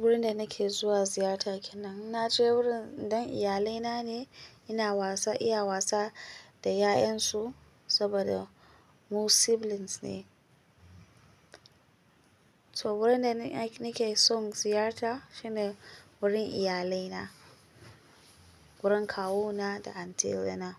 Wurin da nake zuwa ziyarta kenan, na ce wurin dan iyalaina ne. Ina wasa, iya wasa da 'ya'yansu saboda mu siblings ne. So wurin da ni, nake son ziyarta shine wurin iyalaina. Wurin kawuna da auntie na.